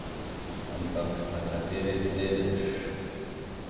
Ampak na kateri sedež?